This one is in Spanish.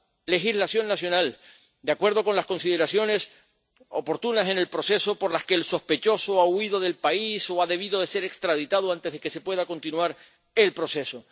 legislación nacional, de acuerdo con las consideraciones oportunas en el proceso cuando el sospechoso ha huido del país o ha debido ser extraditado antes de que se pueda continuar el proceso.